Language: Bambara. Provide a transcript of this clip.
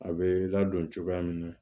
A bɛ ladon cogoya min na